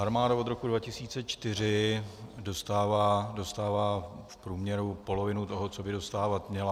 Armáda od roku 2004 dostává v průměru polovinu toho, co by dostávat měla.